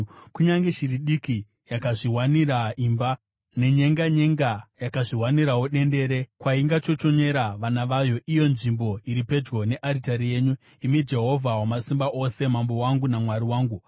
Kunyange shiri diki yakazviwanira imba, nenyenganyenga yakazviwanirawo dendere kwaingachochonyera vana vayo, iyo nzvimbo iri pedyo nearitari yenyu, imi Jehovha Wamasimba Ose, Mambo wangu naMwari wangu.